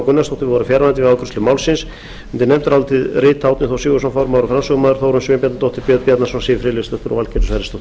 gunnarsdóttir voru fjarverandi við afgreiðslu málsins undir nefndarálitið skrifa árni þór sigurðsson formaður og framsögumaður þórunn sveinbjarnardóttir björn bjarnason siv friðleifsdóttir og valgerður sverrisdóttir